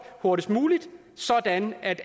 hurtigst muligt sådan at